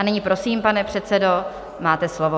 A nyní prosím, pane předsedo, máte slovo.